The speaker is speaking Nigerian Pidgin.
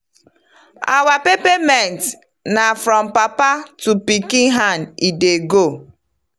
our pepper-mint na from papa to pikin hand e dey go.